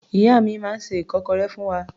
Ìyá mi máa ń se ìkọ́kọrẹ́ fún wa.